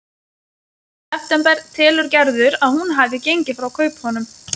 Í september telur Gerður að hún hafi gengið frá kaupunum.